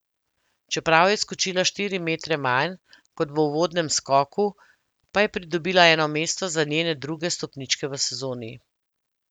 Čeprav je skočila štiri metre manj, kot v uvodnem skoku, pa je pridobila eno mesto za njene druge stopničke v sezoni.